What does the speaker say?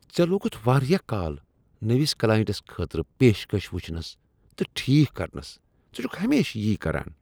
ژٕ لوگُتھ واریاہ کال نٔوس کلاینٛٹس خٲطرٕ پیشکش وٕچھنس تہٕ ٹھیک کرنس۔ ژٕ چھکھ ہمیشہ یی کران۔